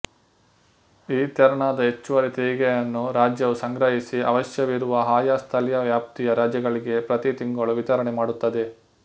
ಈ ತೆರನಾದ ಹೆಚ್ಚುವರಿ ತೆರಿಗೆಯನ್ನು ರಾಜ್ಯವು ಸಂಗ್ರಹಿಸಿ ಅವಶ್ಯವಿರುವ ಆಯಾ ಸ್ಥಳೀಯ ವ್ಯಾಪ್ತಿಯ ರಾಜ್ಯಗಳಿಗೆ ಪ್ರತಿ ತಿಂಗಳು ವಿತರಣೆ ಮಾಡುತ್ತದೆ